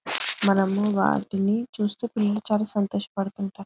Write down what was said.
మనము వాటిని చూస్తూ ఫుల్ చాల సంతోషం పడుతూ ఉంటాయి.